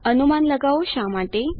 અનુમાન લગાઓ શા માટે